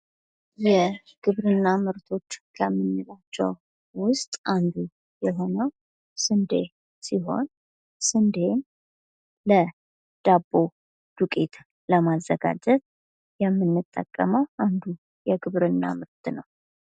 የግብርና ምርቶች ከምንላቸው መካከል አንዱ የሆነው ስንዴ ሲሆን ይህም የዳቦ ዱቄትን ለማዘጋጀት ይጠቅማል ።